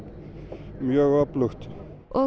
mjög öflugt og